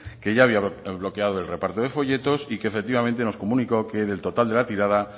que ya había bloqueado el reparto de folletos y que efectivamente nos comunicó que del total de la tirada